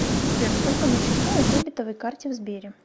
сбер сколько на счету на дебетовой карте в сбере